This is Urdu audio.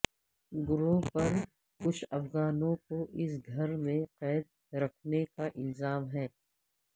گروہ پر کچھ افغانوں کو اس گھر میں قید رکھنے کا الزام ہے